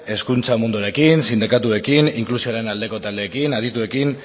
hezkuntza munduarekin sindikatuekin inklusioaren aldeko taldeekin adituekin